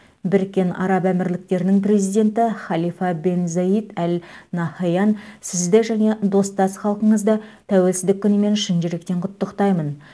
біріккен араб әмірліктерінің президенті халифа бен заид әл нахаян сізді және достас халқыңызды тәуелсіздік күнімен шын жүректен құттықтаймын